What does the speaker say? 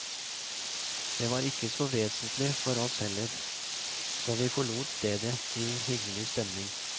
Det var ikke så vesentlig for oss heller, så vi forlot stedet i hyggelig stemning.